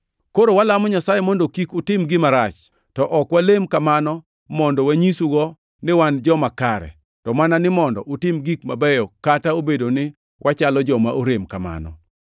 Koro walamo Nyasaye mondo kik utim gima rach, to ok walem kamano mondo wanyisgo ni wan joma kare, to mana ni mondo utim gik mabeyo kata obedo ni wachalo joma orem kamano.